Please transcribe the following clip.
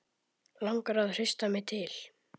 Langar að hrista mig til.